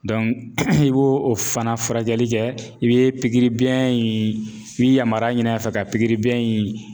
i b'o o fana furakɛli kɛ i bɛ in i bi yamaruya ɲini a fɛ ka in.